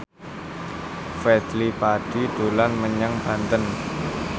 Fadly Padi dolan menyang Banten